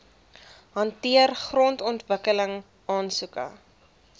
hanteer grondontwikkeling aansoeke